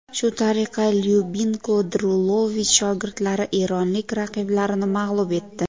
Shu tariqa Lyubinko Drulovich shogirdlari eronlik raqiblarini mag‘lub etdi.